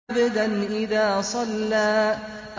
عَبْدًا إِذَا صَلَّىٰ